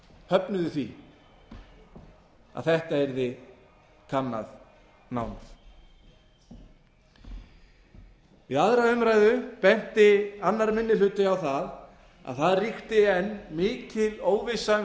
höfnuðu því að þetta yrði kannað nánar við aðra umræðu benti annar minni hluti á að það ríkti enn mikil óvissa um